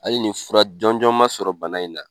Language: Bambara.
Hali ni fura jɔnjɔn ma sɔrɔ bana in na